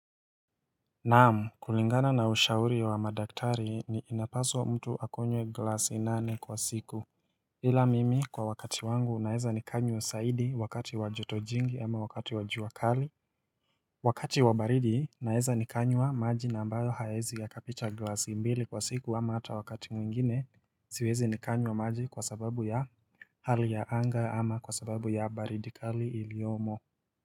Naamu kulingana na ushauri ya wa madaktari ni inapaswa mtu akunywe glasi nane kwa siku ila mimi kwa wakati wangu naeza nikanywa saidi wakati wajotojingi ama wakati wajuakali Wakati wabaridi naeza nikanywa maji na ambayo haezi ya kapicha glasi mbili kwa siku ama hata wakati mwingine siwezi nikanywa maji kwa sababu ya Hali ya anga ama kwa sababu ya baridikali iliyomo.